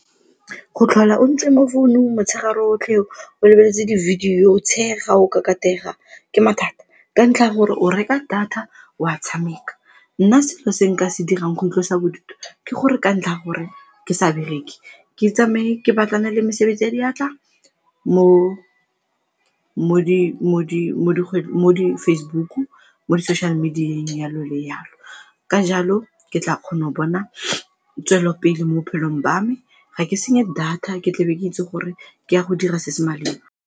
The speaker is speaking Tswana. Go tlhola o ntse mo founung motshegare otlhe o o lebeletse di-video, o tshega, o kakatega ke mathata, ka ntlha ya gore o reka data o a tshameka. Nna selo se nka se dirang go ntlosa bodutu ke gore ka ntlha ya gore ke sa bereke ke tsamaye ke batlane le mesebetsi ya diatla mo di-Facebook-u, mo di social media jalo le jalo. Ka jalo ke tla kgona go bona tswelopele mo bophelong ba me. Ga ke senye data, ke tlabe ke itse gore ke ya go dira se se maleba.